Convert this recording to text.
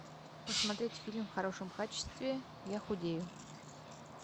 посмотреть фильм в хорошем качестве я худею